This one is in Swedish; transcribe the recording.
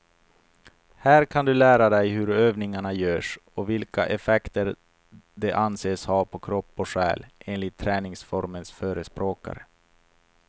Här kan du lära dig hur övningarna görs och vilka effekter de anses ha på kropp och själ, enligt träningsformens förespråkare.